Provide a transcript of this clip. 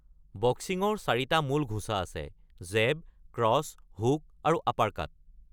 বক্সিঙৰ চাৰিটা মূল ঘোচা আছে: জেব, ক্ৰছ, হুক আৰু আপাৰকাট।